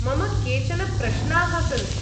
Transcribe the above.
मम केचन प्रश्नाः सन्ति।